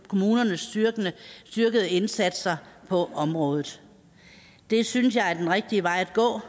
kommunernes styrkede indsatser på området det synes jeg er den rigtige vej at gå